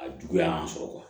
A juguya y'an sɔrɔ